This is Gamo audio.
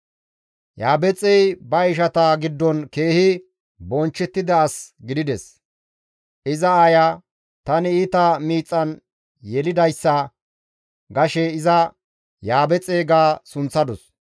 Yabeexey ba ishata giddon keehi bonchchettida as gidides; iza aaya, «Tani iita miixan yelidayssa» gashe iza, «Yaabexe» ga sunththadus.